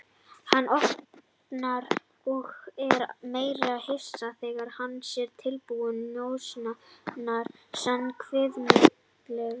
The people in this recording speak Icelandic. Hann opnar og er enn meira hissa þegar hann sér tilbúna njósnarann sinn, kvikmyndaleikkonuna.